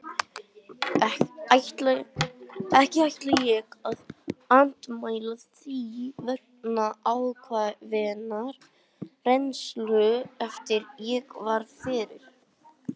Ekki ætla ég að andmæla því vegna ákveðinnar reynslu sem ég varð fyrir.